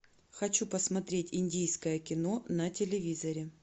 хочу посмотреть индийское кино на телевизоре